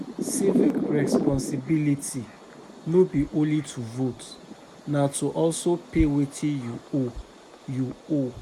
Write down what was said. Civic responsibility no be only to vote, na to also pay wetin you owe, you owe.